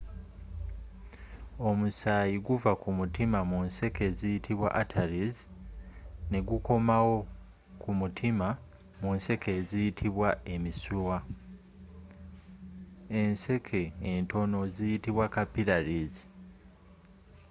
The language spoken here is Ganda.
omusayii guva kumutiima mu nseeke eziyitibwa arteries negukoomawo kumutiima mu nseeke eziyitibwa emisiiwa.enseeke entono ziyitibwa capillaries